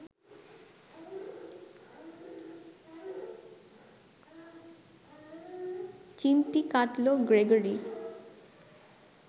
চিমটি কাটল গ্রেগরি